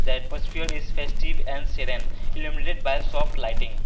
a is festive and sedan illuminated by soft lighting.